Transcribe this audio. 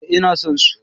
Eh ina son su.